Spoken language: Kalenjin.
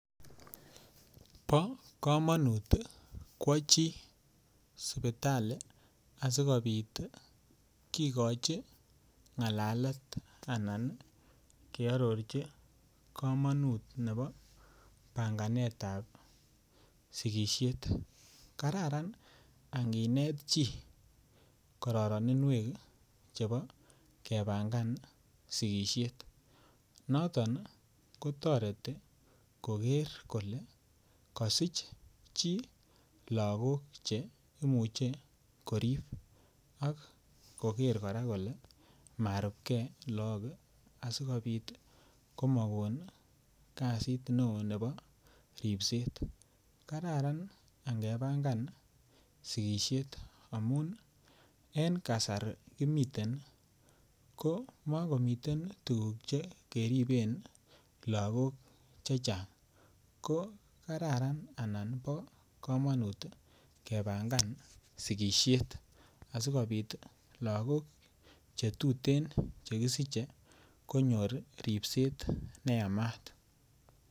Bo komonut kwo chi sipitali asikobit kigochi ngalalet anan kearorchi kamanut nebo panganetab sigisiet kararan anginet chi kororininwek chebo panganetab sigisiet noton ko toreti koger kole kosich chii lagok Che imuche korib ak koger kora kole marubge lagok asikomabit komokon kasit neo nebo ripset kararan angepangan sigisiet amun en kasari kimiten ko makomi tuguk Che keriben Lagok chechang ko Kararan anan bo komonut kepangan sigisiet asikobit lagok Che tuten chekisiche konyor ripset neyamat